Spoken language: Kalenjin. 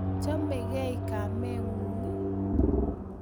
Chamegei kamengung?